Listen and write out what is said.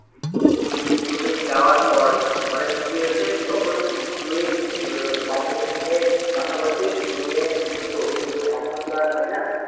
হম তুই যাওয়ার পর মানে কি হয়েছে তখন তুই বান্ধবীর সঙ্গে কথা বলতিস মেয়ে হতো কিন্তু এখন তো আর হয়না